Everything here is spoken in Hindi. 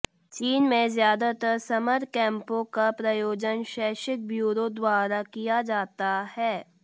चीन में ज्यादातर समर कैम्पों का प्रायोजन शैक्षिक ब्यूरो द्वारा किया जाता है